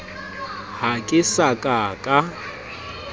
ha ke sa ka ka